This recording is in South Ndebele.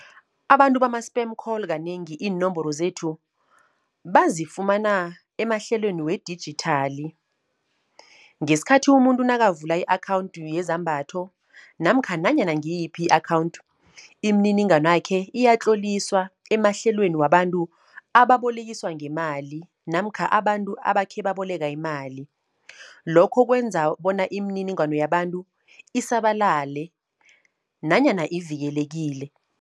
Abantu bama-spam call kanengi iinomboro zethu bazifumana emahlelweni wedijithali. Ngesikhathi umuntu nakavula i-akhawunthi yezambatho namkha nanyana ngiyiphi i-akhawunthu, iminininganwakhe iyatloliswa emahlelweni wabantu ababolekiswa ngemali namkha abantu abakhe baboleka imali. Lokho kwenza bona imininingwano yabantu isabalale nanyana ivikelekile.